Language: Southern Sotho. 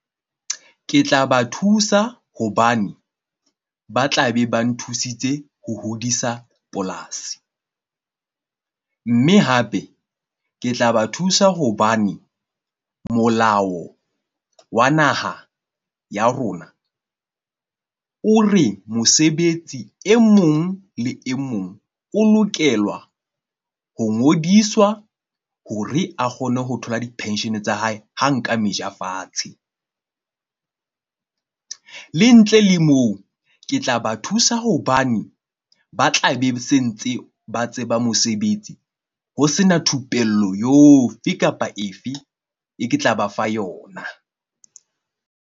Ke tla ba thusa hobane ba tla be ba nthusitse ho hodisa polasi. Mme hape ke tla ba thusa hobane molao wa naha ya rona o re mosebetsi e mong le e mong o lokela ho ngodiswa ho re a kgone ho thola di-pension tsa hae. Ha nka meja fatshe le ntle le moo, ke tla ba thusa. Hobane ba tla be se ntse ba tseba mosebetsi ho sena thupello kapa efe e ke tla ba fa yona.